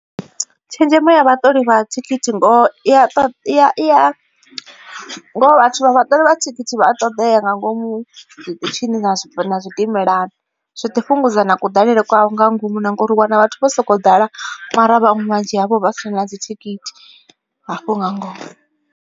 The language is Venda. Tshenzhemo ya vhaṱoli vha thikhithi ngoho vhathu vha vhaṱoli vha thikhithi vha a ṱoḓea nga ngomu zwiṱitshini na zwidimelani. Zwiḓi fhungudza na kuḓalele kwa nga ngomu na ngori u wana vhathu vho sokou ḓala mara vhaṅwe vhunzhi havho vha si na dzithikhithi hafho nga ngomu.